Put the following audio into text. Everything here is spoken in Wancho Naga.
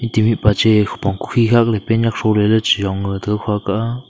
tibi pache khupong kukhi khakley pant nyak throley ley chiyong to khaka.